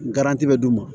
bɛ d'u ma